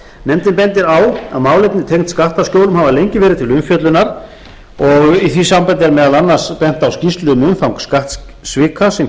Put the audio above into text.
nefndin bendir á að málefni tengd skattaskjólum hafa lengi verið til umfjöllunar og í því sambandi er meðal annars bent á skýrslu um umfang skattsvika sem